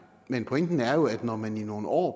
men pointen er jo at når man i nogle år